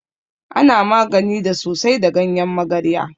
Ana magani da sosai da ganyen magarya.